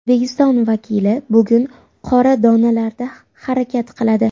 O‘zbekiston vakili bugun qora donalarda harakat qiladi.